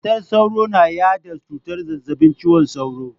Matar sauro na yada cutar zazzabin cizon sauro.